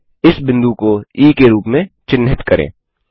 इस बिंदु को ई के रूप में चिन्हित करें